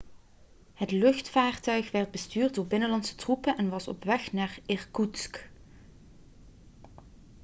het luchtvaarttuig werd bestuurd door binnenlandse troepen en was op weg naar irkoetsk